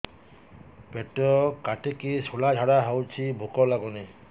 ପେଟ କାଟିକି ଶୂଳା ଝାଡ଼ା ହଉଚି ଭୁକ ଲାଗୁନି